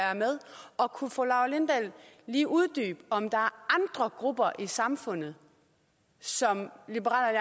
og kunne fru laura lindahl lige uddybe om der er andre grupper i samfundet som liberal